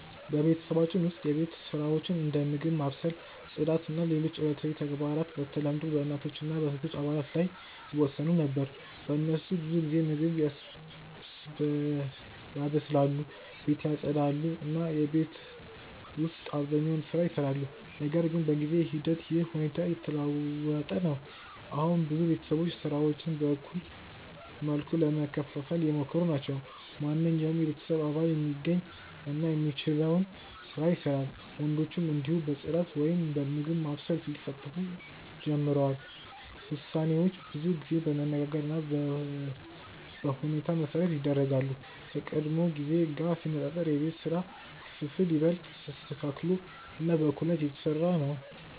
በቤተሰባችን ውስጥ የቤት ስራዎች እንደ ምግብ ማብሰል፣ ጽዳት እና ሌሎች ዕለታዊ ተግባራት በተለምዶ በእናቶች እና በሴቶች አባላት ላይ ይወሰኑ ነበር። እነሱ ብዙ ጊዜ ምግብ ያበስላሉ፣ ቤትን ያጽዳሉ እና የቤት ውስጥ አብዛኛውን ስራ ይሰራሉ። ነገር ግን በጊዜ ሂደት ይህ ሁኔታ እየተለወጠ ነው። አሁን ብዙ ቤተሰቦች ስራዎችን በእኩል መልኩ ለመከፋፈል እየሞከሩ ናቸው። ማንኛውም የቤተሰብ አባል የሚገኝ እና የሚችለውን ስራ ይሰራል፣ ወንዶችም እንዲሁ በጽዳት ወይም በምግብ ማብሰል ሊሳተፉ ጀምረዋል። ውሳኔዎች ብዙ ጊዜ በመነጋገር እና በሁኔታ መሠረት ይደረጋሉ፣ ከቀድሞ ጊዜ ጋር ሲነጻጸር የቤት ስራ ክፍፍል ይበልጥ ተስተካክሎ እና በእኩልነት እየተሰራ ነው።